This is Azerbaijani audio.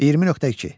20.2.